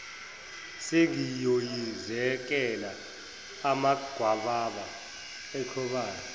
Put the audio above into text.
sengiyoyizekela amagwababa echobana